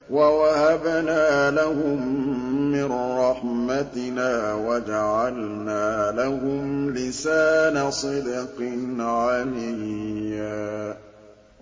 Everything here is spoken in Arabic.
وَوَهَبْنَا لَهُم مِّن رَّحْمَتِنَا وَجَعَلْنَا لَهُمْ لِسَانَ صِدْقٍ عَلِيًّا